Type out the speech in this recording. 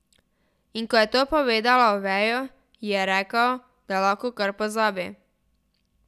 In ko je to povedala Oveju, ji je rekel, da lahko kar pozabi.